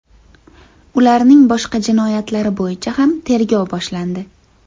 Ularning boshqa jinoyatlari bo‘yicha ham tergov boshlandi .